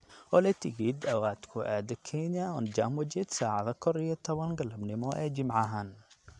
olly tigidh aad ku aado Kenya on jambo jet sacada kor iyo tawan galabnimo ee jimcahaan